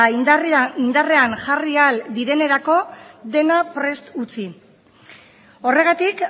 indarrean jarri ahal direnerako dena prest utzi horregatik